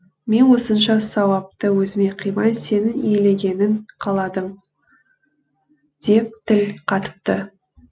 мен осынша сауапты өзіме қимай сенің иеленгенің қаладым деп тіл қатыпты